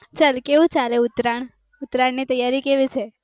કેવું ચાલે ઉત્તરાયણ? ઉત્તરાયણ ની તૈયારી કેવી છે?